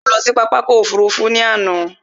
Mo lọ sí pápákọ̀ ọkọ̀ òfurufú ní àná